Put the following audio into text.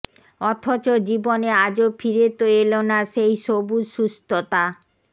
অথচ জীবনে আজো ফিরে তো এল না সেই সবুজ সুস্থতা